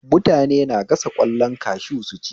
Mutane na gasa ƙwallon kashu su ci